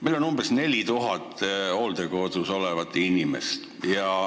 Meil on umbes 4000 hooldekodus olevat inimest.